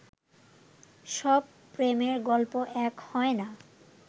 সব প্রেমের গল্প এক হয় না